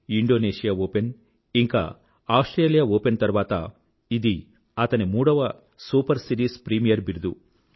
Indonesia open ఇంకా Australia open తర్వాత ఇది అతని మూడవ సూపర్ సీరీస్ ప్రీమియర్ బిరుదు